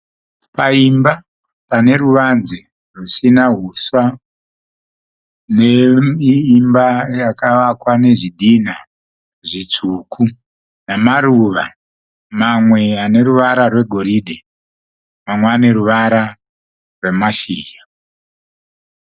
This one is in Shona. Paimba pane ruvanze rusina huswa neimba yakavakwa nezvhidhinha zvitsvuku namaruva namaruva mamwe aneruvara rwegoridhe mamwe ane ruvara rwemashizha.